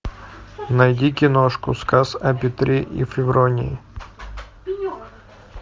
найди киношку сказ о петре и февронии